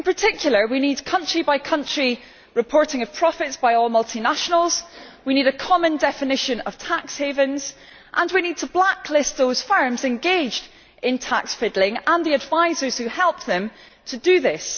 In particular we need country by country reporting of profits by all multinationals, we need a common definition of tax havens, and we need to blacklist those firms engaged in tax fiddling and the advisers who help them to do this.